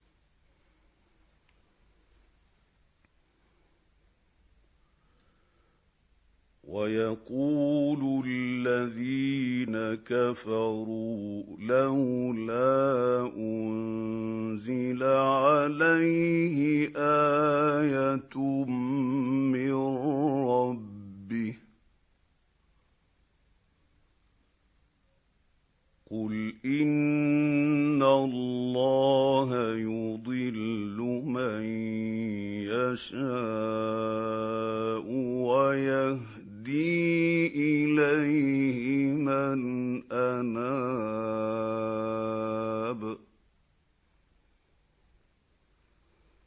وَيَقُولُ الَّذِينَ كَفَرُوا لَوْلَا أُنزِلَ عَلَيْهِ آيَةٌ مِّن رَّبِّهِ ۗ قُلْ إِنَّ اللَّهَ يُضِلُّ مَن يَشَاءُ وَيَهْدِي إِلَيْهِ مَنْ أَنَابَ